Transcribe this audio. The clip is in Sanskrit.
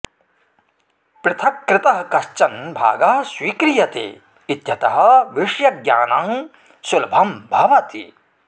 पृथक्कृतः कश्चन भागः स्वीक्रियते इत्यतः विषयज्ञानं सुलभं भवति